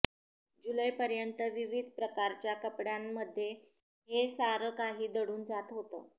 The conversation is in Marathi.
जुलैपर्यंत विविध प्रकारच्या कपड्यांणध्ये हे सारंकाही दडून जात होतं